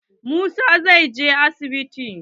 Musa zai je asibiti.